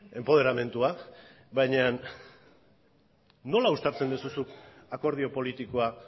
enpoderamendua baina nola uztartzen duzu zuk akordio politikoa